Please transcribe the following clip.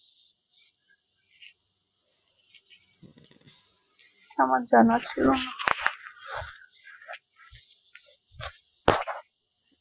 আমার জানা ছিল না